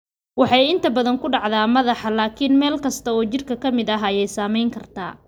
Waxay inta badan ku dhacdaa madaxa, laakiin meel kasta oo jidhka ah ayaa saameyn karta.